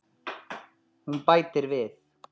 Hún bætir við.